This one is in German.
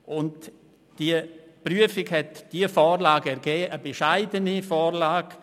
Die Prüfung hat zu dieser Vorlage geführt, einer bescheidenen Vorlage.